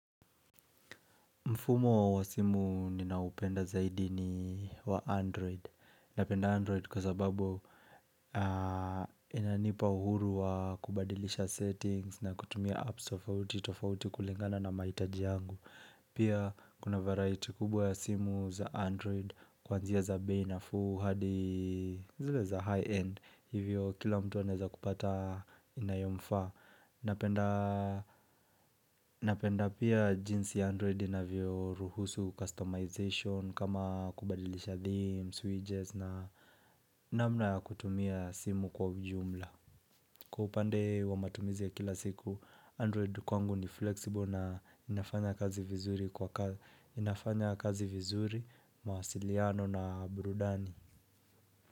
Mfumo wa simu ninaoupenda zaidi ni wa Android. Napenda Android kwa sababu inanipa uhuru wa kubadilisha settings na kutumia apps tofauti, tofauti kulingana na mahitaji yangu. Pia kuna varaiti kubwa ya simu za Android kwanzia za bei nafuu hadi zile za high end. Hivyo kila mtu anaeza kupata inayomfaa. Napenda pia jinsi Android inavyoruhusu customization kama kubadilisha theme, switches na namna ya kutumia simu kwa ujumla Kwa upande wa matumizi ya kila siku, Android kwangu ni flexible na inafanya kazi vizuri mawasiliano na burudani.